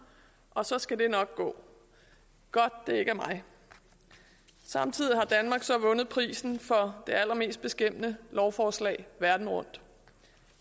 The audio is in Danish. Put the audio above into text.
og så skal det nok gå godt det ikke er mig samtidig har danmark så vundet prisen for det allermest beskæmmende lovforslag verden rundt